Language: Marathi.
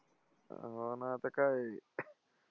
हो ना आता काय?